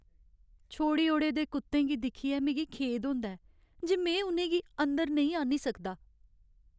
छोड़ी ओड़े दे कुत्तें गी दिक्खियै मिगी खेद होंदा ऐ जे में उ'नें गी अंदर नेईं आह्न्नी सकदा।